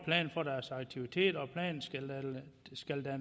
for deres aktiviteter